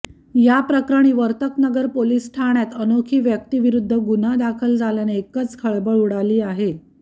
याप्रकरणी वर्तकनगर पोलीस ठाण्यात अनोळखी व्यक्तीविरुद्ध गुन्हा दाखल झाल्याने एकच खळबळ उडाली आहे